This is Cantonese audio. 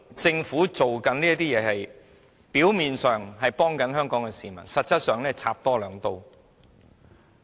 政府表面上是幫助香港市民，實際上是多插兩刀。